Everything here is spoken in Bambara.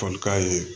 Folikan ye